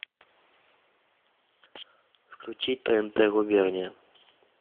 включи тнт губерния